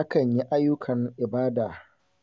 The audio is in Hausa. Akan yi ayyukan ibada